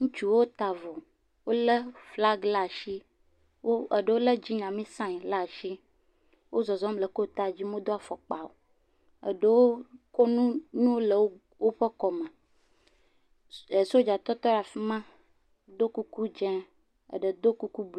Ŋutsuwo ta avɔ. Wolé glagi ɖe ashi. Eɖewo lé Dzinyami saiŋ laa shi. Wo zɔzɔm le kotaa dzi modo fɔkpa o. Eɖowo ƒo nu le wo, woƒe kɔme. ɛɛ Sodza tɔ teɖe afi ma do kuku dzẽ. Eɖe do kuku.